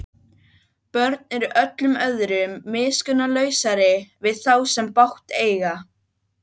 Ég var í uppreisnarliði um skeið en valdi embættiskerfið.